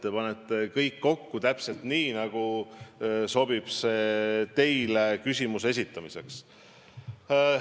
Te panete kõik kokku täpselt nii, nagu teile küsimuse esitamiseks sobib.